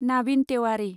Navin Tewari